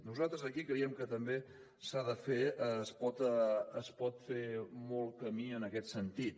nosaltres aquí creiem que també s’ha de fer es pot fer molt camí en aquest sentit